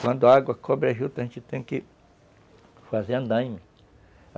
Quando a água cobre a juta, a gente tem que fazer andaime.